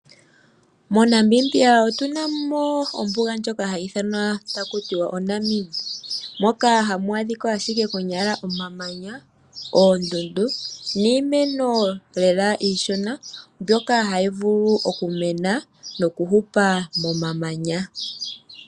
MoNamibia otu na mo ombuga ndjoka ha yi ithanwa taku tiwa oNamib. Moka hamu adhikwa ashike konyala omamanya, oondundu niimeno lela iishona mbyoka ha yi vulu oku mena noku hupa momamanya.